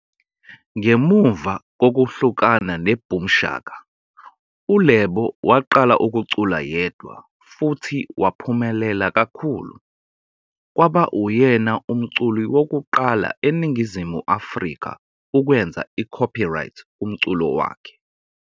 Ngemuva kokuhlukana neBoom Shaka, uLebo waqala ukucula yedwa futhi waphumelela kakhulu, kwaba uyena umculi wokuqala eNingizimu Afrika ukwenza icopyright kumculo wakhe.